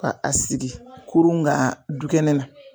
Ka a sigi kurun kan dukɛnɛ na.